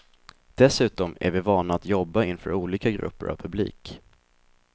Dessutom är vi vana att jobba inför olika grupper av publik.